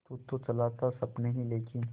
तू तो चला था सपने ही लेके